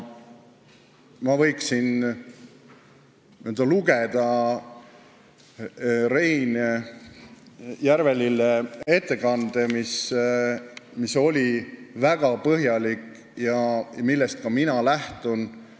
Ma võiksin ette lugeda Rein Järvelille ettekande, mis oli väga põhjalik ja millest ka mina lähtun.